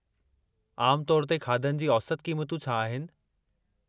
आमु तौर ते खाधनि जी औसत क़ीमतूं छा आहिनि?